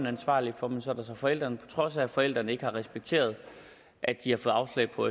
ansvarlige for men så kan forældrene på trods af at forældrene ikke har respekteret at de har fået afslag på